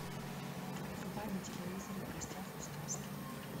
врубай на телевизоре в гостях у сказки